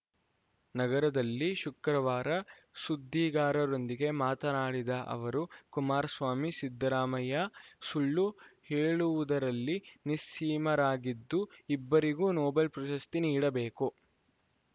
ನಗರದಲ್ಲಿ ಶುಕ್ರವಾರ ಸುದ್ದಿಗಾರರೊಂದಿಗೆ ಮಾತನಾಡಿದ ಅವರು ಕುಮಾರಸ್ವಾಮಿ ಸಿದ್ದರಾಮಯ್ಯ ಸುಳ್ಳು ಹೇಳುವುದರಲ್ಲಿ ನಿಸ್ಸೀಮರಾಗಿದ್ದು ಇಬ್ಬರಿಗೂ ನೊಬೆಲ್‌ ಪ್ರಶಸ್ತಿ ನೀಡಬೇಕು